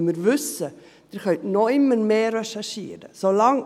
weil wir wissen, dass Sie immer noch mehr recherchieren können.